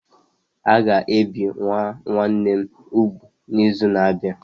A ga-ebi nwa nwanne m úgwù n'izu na-abịa.